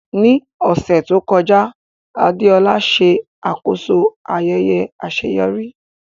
Ní ọ̀sẹ̀ tó kọjá, Adeola ṣe àkóso ayẹyẹ àṣeyọrí.